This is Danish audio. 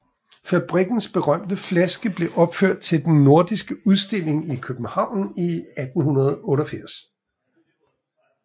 Fabrikkens berømte flaske blev opført til Den nordiske udstilling i København 1888